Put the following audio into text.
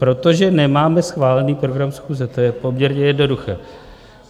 Protože nemáme schválený program schůze, to je poměrně jednoduché.